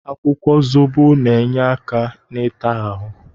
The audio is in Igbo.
Akwụkwọ zobo na-enye aka ịta ahụ.